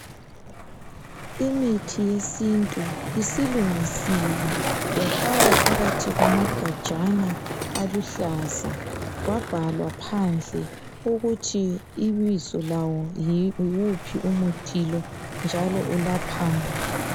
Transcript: Imithi yesintu isilungisiwe yafakwa phakathi kwamagajana aluhlaza kwabhalwa phandle ukuthi ibizo lawo yiwuphi umuthi lo njalo welaphani.